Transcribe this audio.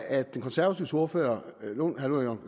at de konservatives ordfører herre